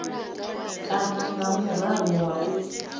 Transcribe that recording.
kana nga murahu ha u